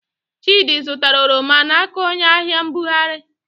Chịdị zụtara oroma n'aka onyeahịambugharị.